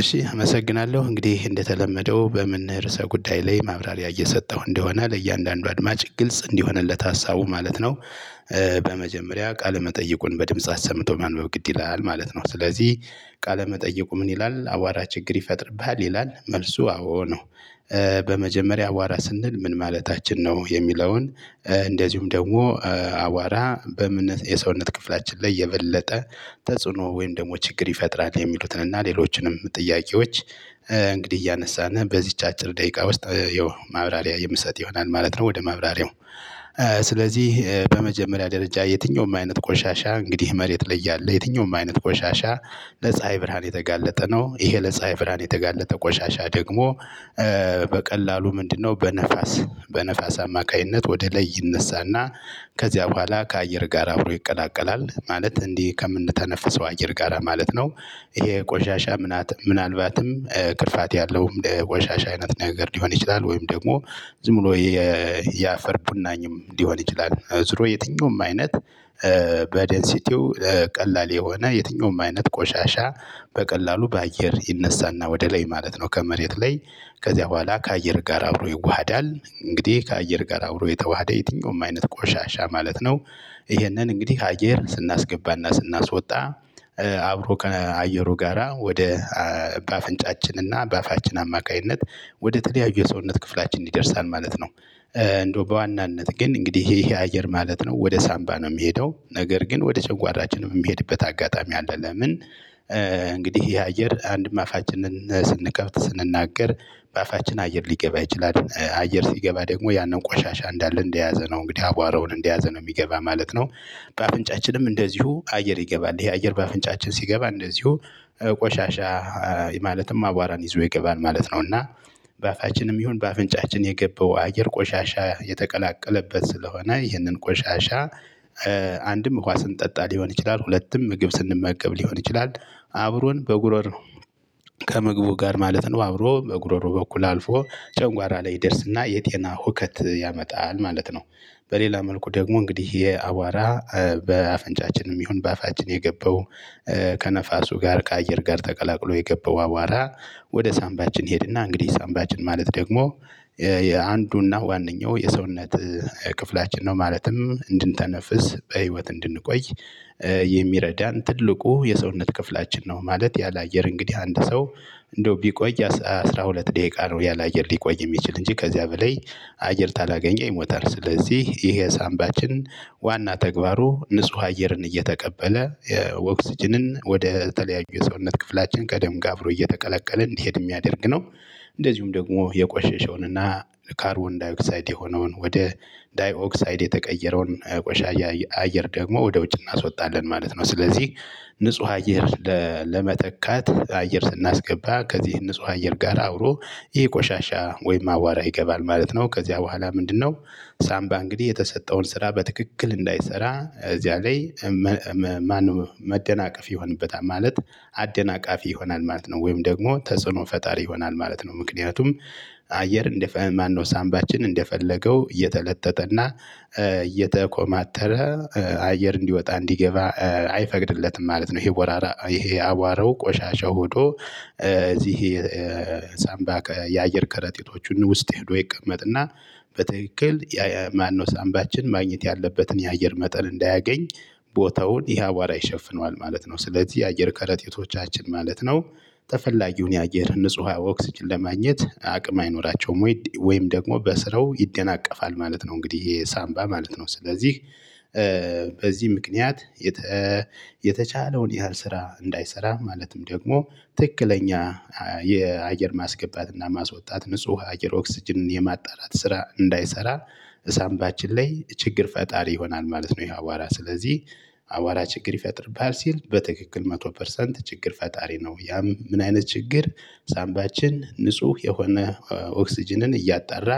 እሺ አመሰግናለሁ እንግዲህ እንደተለመደው በምን ርዕሰ ጉዳይ ላይ ማብራሪያ እየሰጠሁ እንደሆነ ለእያንዳንዱ አድማጭ ግልጽ እንዲሆንለት ሀሳቡ ማለት ነው። በመጀመሪያ ቃለ መጠይቁን በድምጽ አሰምቶ ማንበብ ግድ ይላል ማለት ነው። ስለዚህ ቃለመጠየቁ ምን ይላል አቧራ ችግር ይፈጥርብሃል ይላል መልሱ አዎ ነው። በመጀመሪያ አቧራ ስንል ምን ማለታችን ነው የሚለውን? እንደዚሁም ደግሞ አቧራ በምን የሰውነት ክፍላችን ላይ የበለጠ ተጽዕኖ ወይም ደግሞ ችግር ይፈጥራል የሚሉትን እና ሌሎችንም ጥያቄዎች። እንግዲህ እያነሳን በዚች አጭር ደቂቃ ውስጥ ያው ማብራሪያ የምሰጥ ይሆናል ማለት ነው። ወደ ማብራሪያው። ስለዚህ በመጀመሪያ ደረጃ የትኛውም አይነት ቆሻሻ እንግዲህ መሬት ላይ ያለ የትኛውም አይነት ቆሻሻ ለፀሀይ ብርሃን የተጋለጠ ነው። ይሄ ለጻሀይ ብርሃን የተጋለጠ ቆሻሻ ደግሞ በቀላሉ ምንድነው? በነፋስ በነፋስ አማካኝነት ወደ ላይ ይነሳና ከዚያ በኋላ ከአየር ጋር አብሮ ይቀላቀላል ማለት እንዲህ ከምንተነፍሰው አየር ጋራ ማለት ነው። ይሄ ቆሻሻ ምናልባትም ክፋት ያለውም ቆሻሻ አይነት ነገር ሊሆን ይችላል። ወይም ደግሞ ዝም ብሎ የአፈር ቡናኝም ሊሆን ይችላል። ዝሮ የትኛውም አይነት በደንሲቲው ቀላል የሆነ የትኛውም አይነት ቆሻሻ። በቀላሉ በአየር ይነሳና ወደ ላይ ማለት ነው። ከመሬት ላይ ከዚያ በኋላ ከአየር ጋር አብሮ ይዋሃዳል እንግዲህ ከአየር ጋር አብሮ የተዋሃደ የትኛውም አይነት ቆሻሻ ማለት ነው። ይህንን እንግዲህ አየር ስናስገባና ስናስወጣ። አብሮ ከአየሩ ጋራ ወደ በአፍንጫችን እና በአፋችን አማካኝነት ወደ ተለያዩ የሰውነት ክፍላችን ይደርሳል ማለት ነው። እንደው በዋናነት ግን እንግዲህ ይሄ የአየር ማለት ነው ወደ ሳምባ ነው የሚሄደው ነገር ግን ወደ ጨጓራችን የሚሄድበት አጋጣሚ አለ ለምን? እንግዲህ ይሄ አየር አንድም አፋችንን ስንከብት ስንናገር በአፋችን አየር ሊገባ ይችላል አየር ሲገባ ደግሞ ያንን ቆሻሻ እንዳለ እንደያዘ ነው እንግዲህ አቧራውን እንደያዘ ነው የሚገባ ማለት ነው። በአፍንጫችንም እንደዚሁ አየር ይገባል ይሄ አየር በአፍንጫችን ሲገባ እንደዚሁ ቆሻሻ ማለትም አቧራን ይዞ ይገባል ማለት ነው። እና በአፋችንም ይሁን በአፍንጫችን የገባው አየር ቆሻሻ የተቀላቀለበት ስለሆነ ይህንን ቆሻሻ። ውሃ ስንጠጣ ሊሆን ይችላል ሁለቱም ምግብ ስንመገብ ሊሆን ይችላል። አብሮን በጉሮሮ ከምግቡ ጋር ማለት ነው አብሮ በጉሮሮ በኩል አልፎ ጨንጓራ ላይ ይደርስና የጤና ሁከት ያመጣል ማለት ነው። በሌላ መልኩ ደግሞ እንግዲህ የአቧራ በአፍንጫችንም ይሁን በአፋችን የገባው ከነፋሱ ጋር ከአየር ጋር ተቀላቅሎ የገባው አቧራ ወደ ሳምባችን ይሄድና እንግዲህ ሳምባችን ማለት ደግሞ የአንዱና ዋነኛው የሰውነት ክፍላችን ነው። ማለትም እንድንተነፍስ በህይወት እንድንቆይ የሚረዳን ትልቁ የሰውነት ክፍላችን ነው። ማለት ያለ አየር እንግዲህ አንድ ሰው እንደው ቢቆይ አስራ ሁለት ደቂቃ ነው ያላየር ሊቆይ የሚችል እንጂ ከዚያ በላይ አየር ካላገኘ ይሞታል። ስለዚህ ይሄ ሳምባችን ዋና ተግባሩ ንጹህ አየርን እየተቀበለ የኦክስጅንን ወደ ተለያዩ የሰውነት ክፍላችን ከደም ጋ አብሮ እየተቀለቀለ እንዲሄድ የሚያደርግ ነው። እንደዚሁም ደግሞ የቆሸሸውን እና ካርቦን ዳይ ኦክሳይድ የሆነውን ወደ ዳይኦክሳይድ የተቀየረውን ቆሻያ አየር ደግሞ ወደ ውጭ እናስወጣለን ማለት ነው። ስለዚህ ንጹህ አየር ለመተካት አየር ስናስገባ ከዚህ ንጹህ አየር ጋር አብሮ ይሄ ቆሻሻ ወይም አቧራ ይገባል ማለት ነው። ከዚያ በኋላ ምንድነው? ሳምባ እንግዲህ የተሰጠውን ስራ በትክክል እንዳይሰራ እዚያ ላይ። ማንም መደናቀፍ ይሆንበታል ማለት አደናቃፊ ይሆናል ማለት ነው። ወይም ደግሞ ተጽዕኖ ፈጣሪ ይሆናል ማለት ነው። ምክንያቱም አየር እንደፈለገ ማን ነው ሳንባችን እንደፈለገው እየተለጠጠ እና እየተኮማተረ አየር እንዲወጣ እንዲገባ አይፈቅድለትም ማለት ነው። ይሄ አቧራ ይሄ አቧረው ቆሻሻ ሄዶ እዚህ የሳንባ የአየር ከረጢቶቹን ውስጥ ሄዶ ይቀመጥና በትክልል የማነው ሳምባችን ማግኘት ያለበትን የአየር መጠን እንዳያገኝ ቦታውን ይሄ አቧራ ይሸፍነዋል ማለት ነው። ስለዚህ የአየር ከረጢቶቻችን ማለት ነው። ተፈላጊውን የአየር ንጹህ ኦክስጅን ለማግኘት አቅም አይኖራቸውም ወይም ደግሞ በስራው ይደናቀፋል ማለት ነው። እንግዲህ ይሄ ሳንባ ማለት ነው ስለዚህ በዚህ ምክንያት የተቻለውን ያህል ስራ እንዳይሰራ ማለትም ደግሞ ትክክለኛ የአየር ማስገባት እና ማስወጣት ንጹህ ነነር ኦክስጅንን የማጣራት ስራ እንዳይሰራ። ሳምባችን ላይ ችግር ፈጣሪ ይሆናል ማለት ነው። ይሄ አቧራ ስለዚህ አቧራ ችግር ይፈጥርብሃል ሲል በትክክል መቶ ፐርሰንት ችግር ፈጣሪ ነው። ያም ምን አይነት ችግር? ሳምባችን ንጹህ የሆነ ኦክስጅንን እያጣራ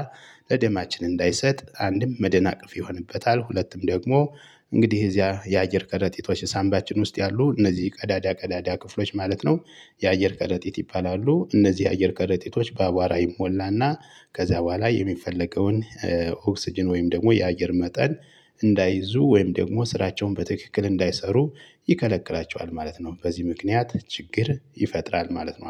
ለደማችን እንዳይሰጥ አንድም መደናቀፍ ይሆንበታል። ሁለትም ደግሞ እንግዲህ እዚያ የአየር ቀረጢቶች ሳምባችን ውስጥ ያሉ እነዚህ ቀዳዳ ቀዳዳ ክፍሎች ማለት ነው። የአየር ቀረጢት ይባላሉ። እነዚህ የአየር ቀረጢቶች በአቧራ ይሞላና ከዚያ በኋላ የሚፈለገውን ኦክስጅን ወይም ደግሞ የአየር መጠን እንዳይዙ ወይም ደግሞ ስራቸውን በትክክል እንዳይሰሩ ይከለክላቸዋል ማለት ነው። በዚህ ምክንያት ችግር ይፈጥራል ማለት ነው